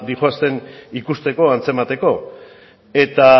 doazen ikusteko antzemateko eta